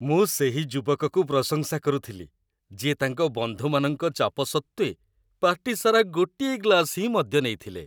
ମୁଁ ସେହି ଯୁବକକୁ ପ୍ରଶଂସା କରୁଥିଲି, ଯିଏ ତାଙ୍କ ବନ୍ଧୁମାନଙ୍କ ଚାପ ସତ୍ତ୍ୱେ, ପାର୍ଟି ସାରା ଗୋଟିଏ ଗ୍ଲାସ୍ ହିଁ ମଦ୍ୟ ନେଇଥିଲେ।